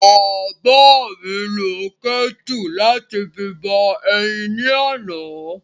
Bàbá mi lo kẹ́tù láti fi bọ eyin ni àná.